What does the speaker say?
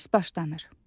Dərs başlanır.